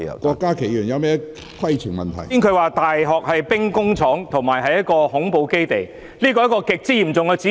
剛才局長說大學是兵工廠及恐怖主義基地，這是極為嚴重的指控。